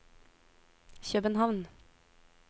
København